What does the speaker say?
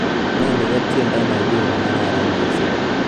inoni ko tiendo nenyun negararan missing